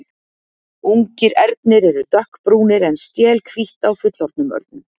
Ungir ernir eru dökkbrúnir en stél hvítt á fullorðnum örnum.